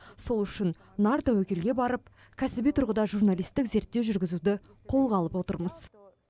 сол үшін нар тәуекелге барып кәсіби тұрғыда журналисттік зерттеу жүргізуді қолға алып отырмыз